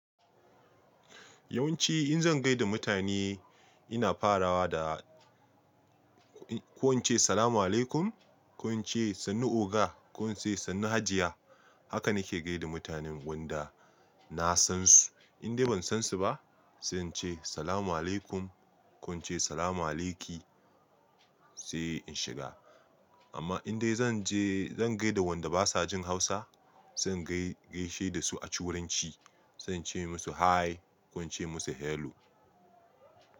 Yawanci in zan gaida mutane ina farawa da, ko in ce Salamu alaikum, ko in ce sannu oga, ko in ce sannu hajiya. Haka na ke gaida mutanen wanda na san su. In dai ban san su ba, sai in ce Salamu alaikum ko in ce Salamu aliki sai in shiga. Amma in dai zan je, zan gaida wanda basa jin Hausa, zan dai gaishe da su a ci wuranci. Zan ce musu hi ko in ce musu hello.